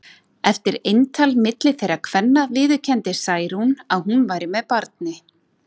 Eftir eintal milli þeirra kvenna viðurkenndi Særún að hún væri með barni.